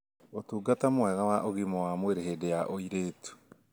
ũtungata mwega wa ũgima wa mwĩrĩ hĩndĩ ya ũritu